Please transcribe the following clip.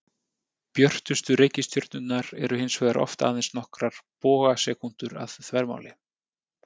Björtustu reikistjörnurnar eru hins vegar oft aðeins nokkrar bogasekúndur að þvermáli.